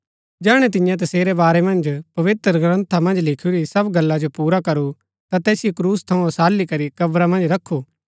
जैहणै तिन्ये तसेरै बारै मन्ज पवित्रग्रन्था मन्ज लिखुरी सब गल्ला जो पुरा करू ता तैसिओ क्रूस थऊँ ओसाली करी कब्रा मन्ज रखु